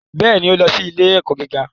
Bẹ́ẹ̀ ni, ó lọ sí ilé-ẹ̀kọ́ gíga